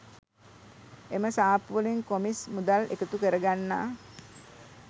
එම සාප්පුවලින් කොමිස් මුදල් එකතු කරගන්නා